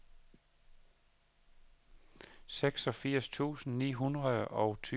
seksogfirs tusind ni hundrede og tyve